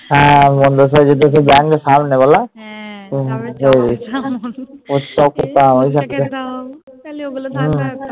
হ্যাঁ